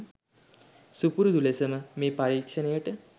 සුපුරුදු ලෙසම මේ පරීක්ෂණයට